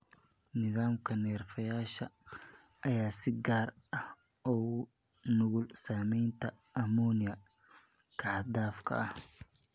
Nidaamka neerfayaasha ayaa si gaar ah ugu nugul saameynta ammonia-ka xad-dhaafka ah.